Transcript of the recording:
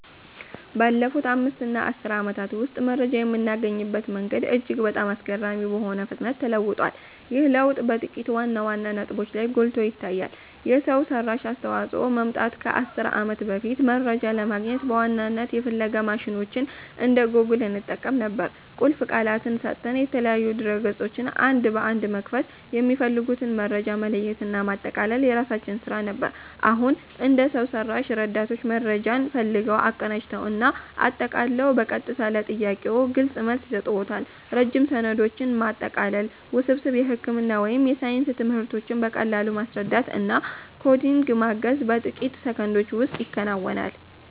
ባለፉት 5 እና 10 ዓመታት ውስጥ መረጃ የምናገኝበት መንገድ እጅግ በጣም አስገራሚ በሆነ ፍጥነት ተለውጧል። ይህ ለውጥ በጥቂት ዋና ዋና ነጥቦች ላይ ጎልቶ ይታያል የሰው ሰራሽ አስተዋፅኦ መምጣት ከ 10 ዓመት በፊት፦ መረጃ ለማግኘት በዋናነት የፍለጋ ማሽኖችን እንደ ጎግል እንጠቀም ነበር። ቁልፍ ቃላትን ሰጥተን፣ የተለያዩ ድረ-ገጾችን አንድ በአንድ በመክፈት፣ የሚፈልጉትን መረጃ መለየትና ማጠቃለል የራሳችን ስራ ነበር። አሁን፦ እንደ የሰው ሰራሽ ረዳቶች መረጃን ፈልገው፣ አቀናጅተው እና አጠቃለው በቀጥታ ለጥያቄዎ ግልጽ መልስ ይሰጡዎታል። ረጅም ሰነዶችን ማጠቃለል፣ ውስብስብ የሕክምና ወይም የሳይንስ ትምህርቶችን በቀላሉ ማስረዳት እና ኮዲንግ ማገዝ በጥቂት ሰከንዶች ውስጥ ይከናወናል።